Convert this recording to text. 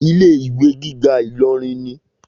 Ilé ìwé gíga Ìlọrin ni.